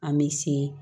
An bɛ se